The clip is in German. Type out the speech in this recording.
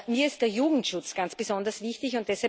Mir ist der Jugendschutz ganz besonders wichtig.